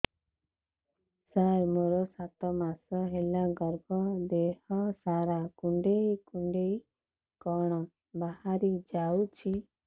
ସାର ମୋର ସାତ ମାସ ହେଲା ଗର୍ଭ ଦେହ ସାରା କୁଂଡେଇ କୁଂଡେଇ କଣ ବାହାରି ଯାଉଛି